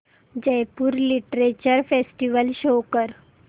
Jaipur literature festival show कर